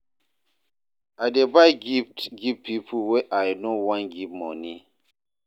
I dey buy gift give pipo wey I no wan give moni.